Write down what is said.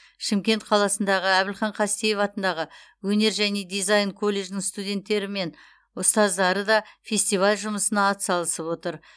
шымкент қаласындағы әбілхан қастеев атындағы өнер және дизайн колледжінің студенттері мен ұстаздары да фестиваль жұмысына атсалысып отыр